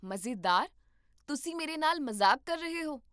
ਮਜ਼ੇਦਾਰ? ਤੁਸੀਂ ਮੇਰੇ ਨਾਲ ਮਜ਼ਾਕ ਕਰ ਰਹੇ ਹੋ?